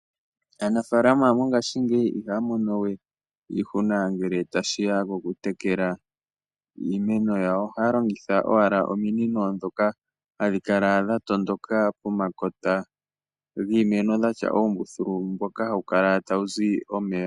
Aanafalama mongashingeyi ihaya mono we iishuna ngele tashiya poku tekela iimeno yawo. Ohaya longitha owala ominino dhoka hadhi kala dha tondoka pomakota giimeno dhatya oombuthulu dhoka hadhi kala tadhi zi omeya.